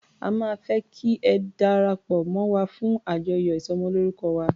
A máa fẹ́ kí ẹ darapọ̀ mọ́ wa fún àjọyọ̀ ìsọmọlórúkọ wa.